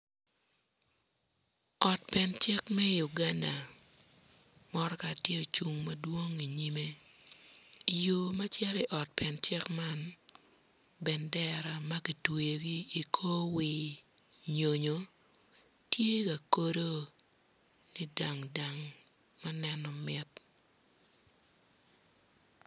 Ot pen cik me Uganda mutoka tye ocung madwong i nyimme yo ma cito i ot pen cik man bendera ma kitweyogi i kor wir nyonyo tye ka kodo ni dang dang ma neno mit.